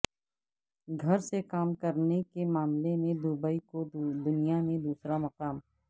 گھر سے کام کرنے کے معاملے میں دبئی کو دنیا میں دوسرا مقام